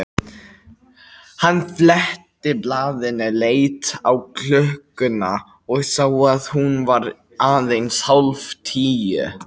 Hann fletti blaðinu, leit á klukkuna og sá að hún var aðeins hálf tíu.